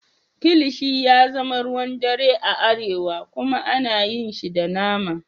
Kilishi ya zama ruwan dare a arewa kuma ana yin shi da nama.